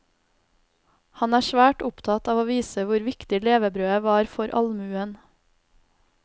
Han er svært opptatt av å vise hvor viktig levebrødet var for allmuen.